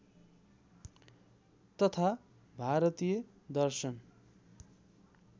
तथा भारतीय दर्शन